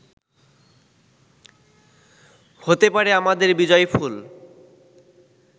হতে পারে আমাদের বিজয়ফুল